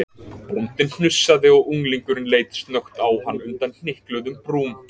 Bóndinn hnussaði og unglingurinn leit snöggt á hann undan hnykluðum brúm.